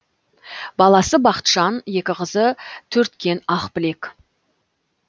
баласы бақытжан екі қызы төрткен ақбілек